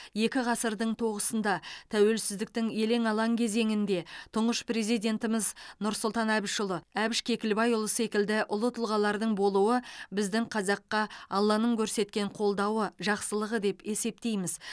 екі ғасырдың тоғысында тәуелсіздіктің елең алаң кезеңінде тұңғыш президентіміз нұрсұлтан әбішұлы әбіш кекілбайұлы секілді ұлы тұлғалардың болуы біздің қазаққа алланың көрсеткен қолдауы жақсылығы деп есептейміз